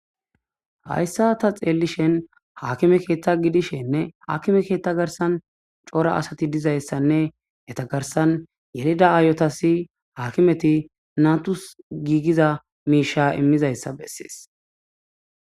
hayssa ta xeellishen haakime keeththa gidishenne haakime keetta garsan coora asati dizayssanne etagarsan yelida aayotasi haakimeti natus giigiza miisha immizayssa bessees